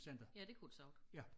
Ja det kunne det sagtens